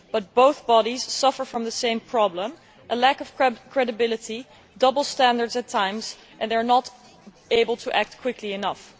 But both bodies suffer from the same problem a lack of credibility, double standards at times, and they are not able to act quickly enough.